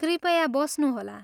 कृपया बस्नुहोला।